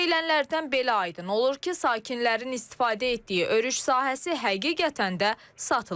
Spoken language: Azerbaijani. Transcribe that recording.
Deyilənlərdən belə aydın olur ki, sakinlərin istifadə etdiyi örüş sahəsi həqiqətən də satılıb.